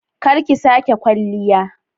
Kar ki sake kwalliya!